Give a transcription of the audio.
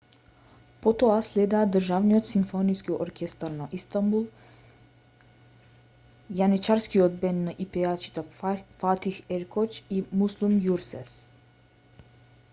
потоа следеа државниот симфониски оркестар на истанбул јаничарскиот бенд и пејачите фатих еркоч и муслум ѓурсес